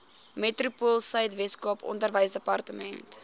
metropoolsuid weskaap onderwysdepartement